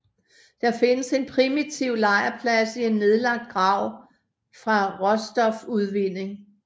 Der findes en primitiv lejrplads i en nedlagt grav fra råstofudvinding